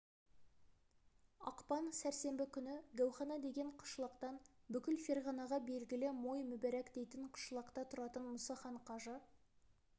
ақпан сәрсенбі күні гәухана деген қышлақтан бүкіл ферғанаға белгілі мой мұбарак дейтін қышлақта тұратын мұсахан қажы